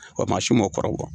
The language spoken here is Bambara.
Ɔ kuma a su ma kɔrɔbɔ.